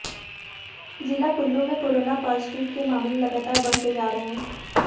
जिला कुल्लू में corona positive के मामले लगातार बढ़ते जा रहे हैं